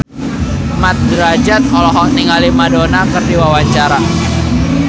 Mat Drajat olohok ningali Madonna keur diwawancara